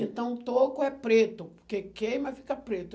Então, toco é preto, porque queima e fica preto.